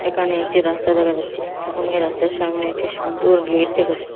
এখানে একটি রাস্তা দেখা যাচ্ছে এবং এই রাস্তার সামনে একটি সুন্দর গেইট দেখা যাচ্ছে।